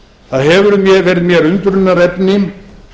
það hefur verið mér undrunarefni